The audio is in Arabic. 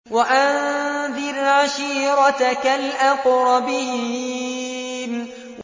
وَأَنذِرْ عَشِيرَتَكَ الْأَقْرَبِينَ